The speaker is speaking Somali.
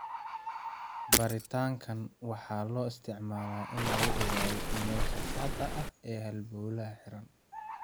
Baaritaankaan waxaa loo isticmaalaa in lagu ogaado meesha saxda ah ee halbowlaha xiran.